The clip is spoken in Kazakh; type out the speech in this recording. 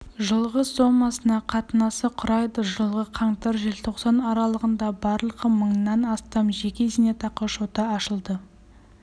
жылғы сомасына қатынасы құрайды жылғы қаңтар желтоқсан аралығында барлығы мыңнан астам жеке зейнетақы шоты ашылды